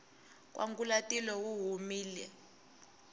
nkwangulatilo wu humile